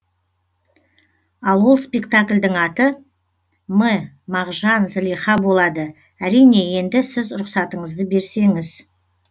ал ол спектакльдың аты м мағжан зылиха болады әрине енді сіз рұхсатыңызды берсеңіз